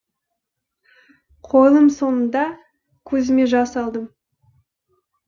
қойылым соңында көзіме жас алдым